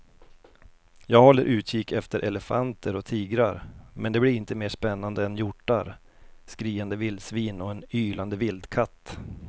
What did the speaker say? Jag håller utkik efter elefanter och tigrar men det blir inte mer spännande än hjortar, skriande vildsvin och en ylande vildkatt.